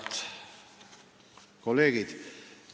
Head kolleegid!